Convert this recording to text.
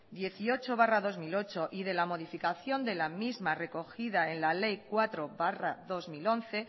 dieciocho barra dos mil ocho y de la modificación de la misma recogida en la ley cuatro barra dos mil once